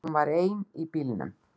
Hún var ein í bílnum.